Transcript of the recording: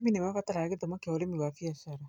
Arĩmi nĩ mabataraga gĩthomo kĩa ũrĩmi wa biacara.